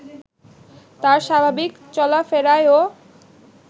তার স্বাভাবিক চলাফেরায়ও